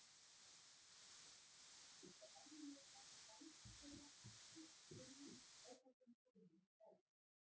Auk þess er venjulega fæðu þeirra ekki að finna á þessum grunnu svæðum.